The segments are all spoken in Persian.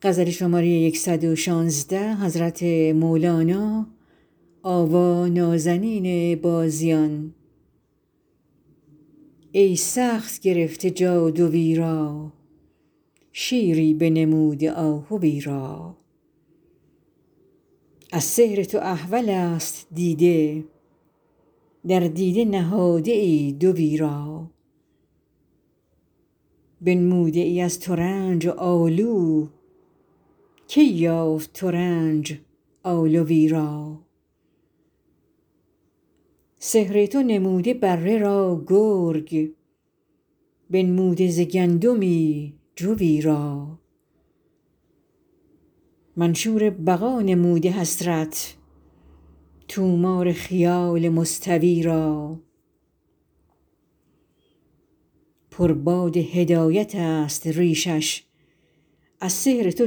ای سخت گرفته جادوی را شیری بنموده آهوی را از سحر تو احولست دیده در دیده نهاده ای دوی را بنموده ای از ترنج آلو کی یافت ترنج آلوی را سحر تو نمود بره را گرگ بنموده ز گندمی جوی را منشور بقا نموده سحرت طومار خیال منطوی را پر باد هدایتست ریشش از سحر تو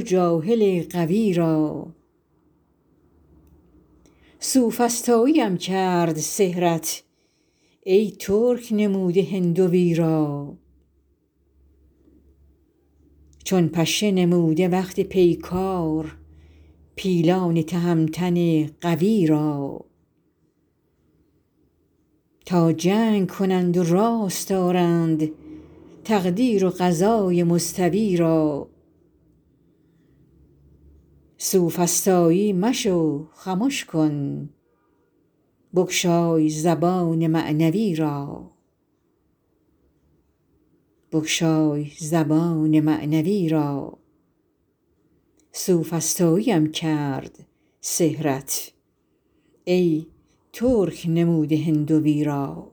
جاهل غوی را سوفسطاییم کرد سحرت ای ترک نموده هندوی را چون پشه نموده وقت پیکار پیلان تهمتن قوی را تا جنگ کنند و راست آرند تقدیر و قضای مستوی را سوفسطایی مشو خمش کن بگشای زبان معنوی را